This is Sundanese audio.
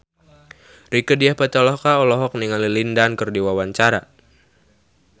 Rieke Diah Pitaloka olohok ningali Lin Dan keur diwawancara